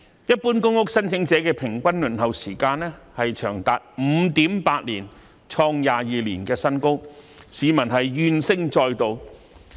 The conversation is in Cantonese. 一般公屋申請者的平均輪候時間長達 5.8 年，創22年新高，市民怨聲載道。